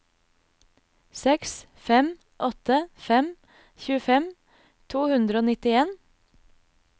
seks fem åtte fem tjuefem to hundre og nittien